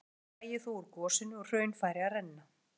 Fljótlega drægi þó úr gosinu og hraun færi að renna.